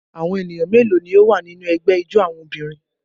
Awọn eniyan melo ni o wa ninu ẹgbẹ ijó awọn obirin?